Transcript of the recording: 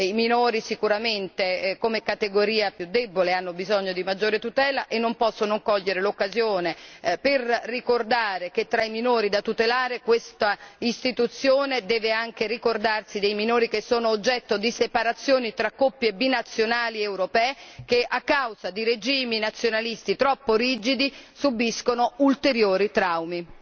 I minori sicuramente come categoria più debole hanno bisogno di maggiore tutela e non posso non cogliere l'occasione per ricordare che tra i minori da tutelare questa istituzione deve anche ricordarsi dei minori che sono oggetto di separazioni fra coppie binazionali europee che, a causa di regimi nazionalisti troppo rigidi, subiscono ulteriori traumi.